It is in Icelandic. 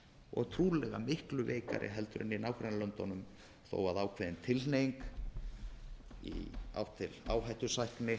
og trúlega miklu veikari heldur en í nágrannalöndunum þó ákveðin tilhneiging ásamt áhættusækni